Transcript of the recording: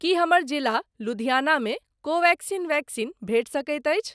की हमर जिला लुधिआना मे कोवेक्सिन वैक्सीन भेटि सकैत अछि?